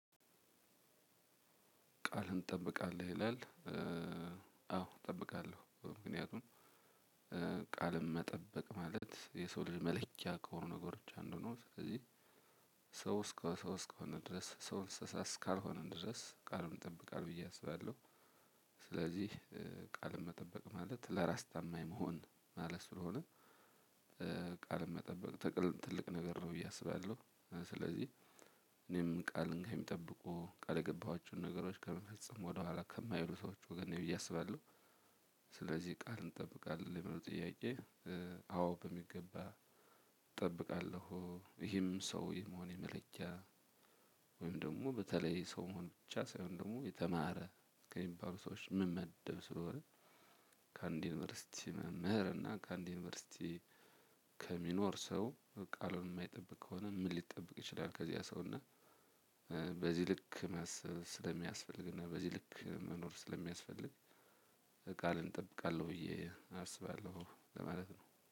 ቃልን እንጠብቃለን ይላል። አዎ እጠብቃለሁ ምክንያቱም ቃልም መጠበቅ ማለት የሰው ልጅ መለኪያ ከሆኑ ነገሮች አንዱ ነው። ስለዚህ ሰው እስከሆን ድረስ እንስሳ እስካልሆን ድረስ ቃሉን ይጠብቃል ብየ አስባለሁ። ስለዚህ ቃል መጠበቅ ማለት ለራስ ታማኝ መሆን ማለት ስለሆነ። ቃል መጠበቅ ትልቅ ነገር ነው ብዬ አስባለሁ። ስለዚህ እኔም ቃል እንግዲህ ከሚጠብቁ ቃል የገባኋቸውን ነገሮች ከመፈጸም ወደኋላ ከማይሉ ሰዎች ወገን ብየ አስባለው። ስለዚህ ቃል ትጠብቃለህ ለሚለው ጥያቄ። አዎ በሚገባ እጠብቃለሁ። ይሄም ሰው የመሆን የመለኪያ ወይም ደግሞ በተለይ ሰው መሆን ብቻ ሳይሆን ደግሞ የተማረ ከሚባሉ ሰዎች ምመደብ ስለሆነ። ከአንድ ዩኒቨርሲቲ መምህር እና ከአንድ ዩኒቨርሲቲ ከሚኖር ሰው ቃሉን የማይጠብቅ ከሆነ ምን ሊጠብቅ ይችላል? ከዚህ ያ ሰው እና። በዚህ ልክ ማሰብ ስለሚያስፈልግና በዚህ ልክ መኖር ስለሚያስፈልግ። ቃልን እጠብቃለሁ ብዬ አስባለሁ ለማለት ነው